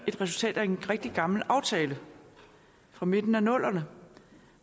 resultat af en rigtig gammel aftale fra midten af nullerne